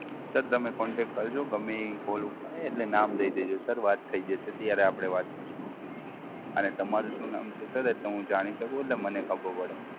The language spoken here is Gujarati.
Sir તમે Contact કરજો ગમે ઈ Call ઉપાડે એને નામ દઈ દેજો Sir વાત થઈ જશે, ત્યારે આપડે વાત કરશું. અને તમારું શું નામ છે Sir? એટલે હું જાણી શકું એટલે મને ખબર પડે.